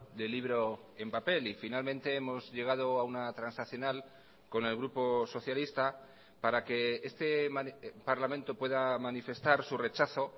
del libro en papel y finalmente hemos llegado a una transaccional con el grupo socialista para que este parlamento pueda manifestar su rechazo